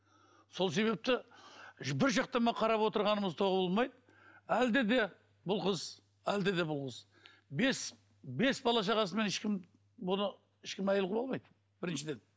сол себепті қарап отырғанымыз әлде де бұл қыз әлде де бұл қыз бес бес бала шағасымен ешкім бұны ешкім әйел қылып алмайды біріншіден